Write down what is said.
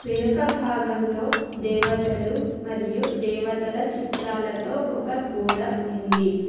వెనుక భాగంలో దేవతలు మరియు దేవతల చిత్రాలతో ఒక గోడ ఉంది.